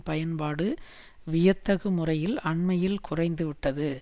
பயன்பாடு வியத்தகு முறையில் அண்மையில் குறைந்துவிட்டது